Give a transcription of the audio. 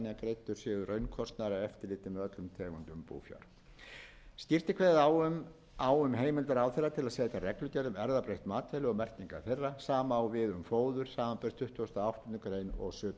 búfjár skýrt er kveðið á um heimild ráðherra til að setja reglugerð um erfðabreytt matvæli og merkingar þeirra sama á við um fóður samanber tuttugustu og áttundu greinar og sjötugasta greinar jafnframt er það